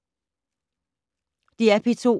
DR P2